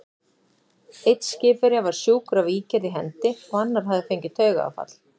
Einn skipverja var sjúkur af ígerð í hendi, og annar hafði fengið taugaáfall.